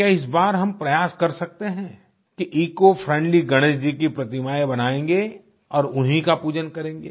क्या इस बार हम प्रयास कर सकते हैं कि इकोफ्रेंडली गणेश जी की प्रतिमायें बनायेंगे और उन्हीं का पूजन करेंगे